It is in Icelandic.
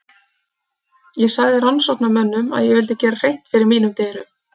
Ég sagði rannsóknarmönnum að ég vildi gera hreint fyrir mínum dyrum.